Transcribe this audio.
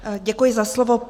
Děkuji za slovo.